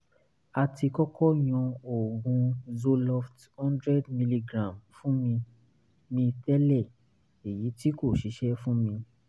a ti kọ́kọ́ yan oògùn zoloft 100mg fún mi mi tẹ́lẹ̀ èyí tí kò ṣiṣẹ́ fún mi